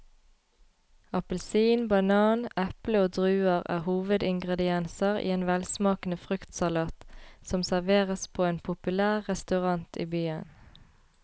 Appelsin, banan, eple og druer er hovedingredienser i en velsmakende fruktsalat som serveres på en populær restaurant i byen.